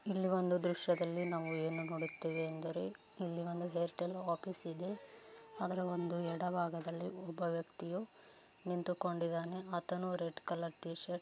ಇಲ್ಲಿ ಒಂದು ದೃಶ್ಯದಲ್ಲಿ ಏನೂ ನೋಡುತ್ತೀವಿ ಅಂದರೆ ಇಲ್ಲಿ ಒಂದು ಏರ್‌ಟೆಲ್‌ ಆಫೀಸ್‌ ಇದೆ ಅದರ ಒಂದು ಎಡ ಭಾಗದಲ್ಲಿ ಒಬ್ಬ ವ್ಯಕ್ತಿಯು ನಿಂತುಕೊಂಡಿದ್ದಾನೆ ಆತನೂ ರೆಡ್‌ ಕಲರ್‌ ಟೀ ಶರ್ಟ್